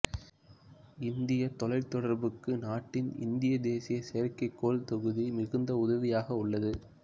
இந்தியத் தொலைத்தொடர்புக்கு நாட்டின் இந்திய தேசிய செயற்கைக்கோள் தொகுதி மிகுந்த உதவியாக உள்ளது